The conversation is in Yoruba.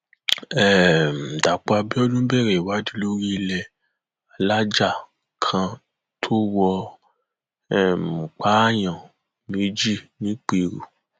um dápò abiodun bẹrẹ ìwádìí lórí ilé alájà kan tó wọ um pààyàn méjì nìpẹrù